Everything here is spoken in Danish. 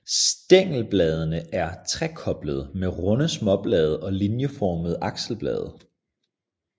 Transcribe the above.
Stængelbladene er trekoblede med runde småblade og linieformede akselblade